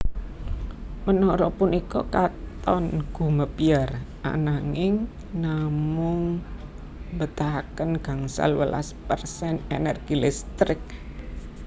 Menara punika katon gumebyar ananging namung mbetahaken gangsal welas persen energi listrik